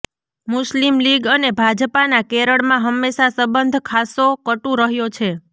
મુસ્લિમ લીગ અને ભાજપાના કેરળમાં હંમેશા સંબંધ ખાસો કટુ રહ્યો છે